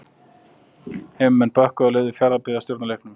Heimamenn bökkuðu og leyfði Fjarðarbyggð að stjórna leiknum.